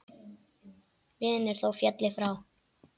Vinur þó félli frá.